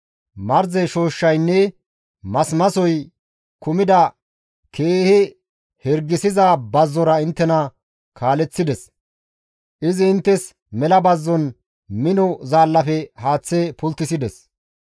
Marze shooshshaynne masimasoy kumida keehi hirgisiza bazzora inttena kaaleththides; izi inttes mela bazzon mino zaallafe haaththe pulttisides.